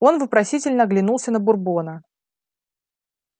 он вопросительно оглянулся на бурбона